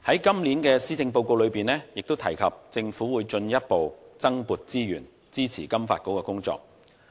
今年的施政報告提及政府會進一步增撥資源，支持金發局的工作。